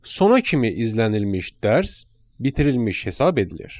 Sona kimi izlənilmiş dərs bitirilmiş hesab edilir.